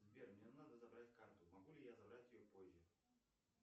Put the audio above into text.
сбер мне надо забрать карту могу ли я забрать ее позже